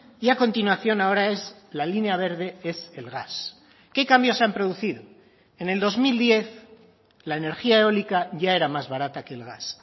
y a continuación ahora es la línea verde es el gas qué cambios se han producido en el dos mil diez la energía eólica ya era más barata que el gas